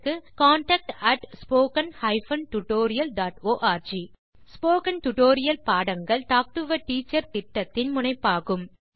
contact at spoken hyphen tutorial dot org spoken tutorial பாடங்கள் talk to a teacher திட்டத்தின் முனைப்பாகும்